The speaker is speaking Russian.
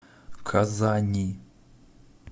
казани